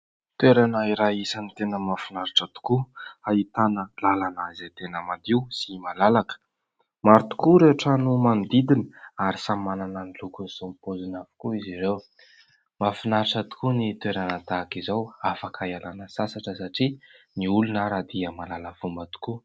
Toerana iray isan'ny tena mahafinaritra tokoa ahitana lalana izay tena madio sy malalaka. Maro tokoa ireo trano manodidina ary samy manana ny lokony sy ny paoziny avokoa izy ireo. Mahafinaritra tokoa ny toerana tahak'izao afaka ialana sasatra satria ny olona ary dia mahalala fomba tokoa.